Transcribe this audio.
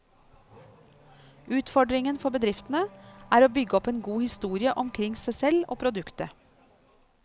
Utfordringen for bedriftene er å bygge opp en god historie omkring seg selv og produktet.